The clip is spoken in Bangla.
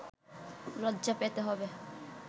লজ্জা পেতে হবে